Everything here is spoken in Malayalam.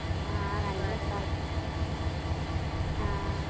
ആഹ് നല്ല രസാണ് ആഹ്